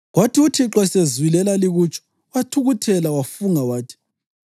Kwathi uThixo esezwile elalikutsho, wathukuthela, wafunga wathi: